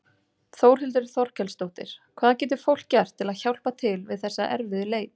Þórhildur Þorkelsdóttir: Hvað getur fólk gert til að hjálpa til við þessa erfiðu leit?